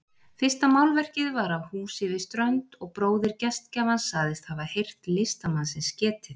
Fyrsta málverkið var af húsi við strönd og bróðir gestgjafans sagðist hafa heyrt listamannsins getið.